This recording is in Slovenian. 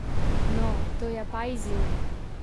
No, to je pa izziv.